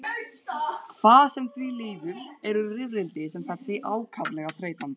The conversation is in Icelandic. Hvað sem því líður eru rifrildi sem þessi ákaflega þreytandi.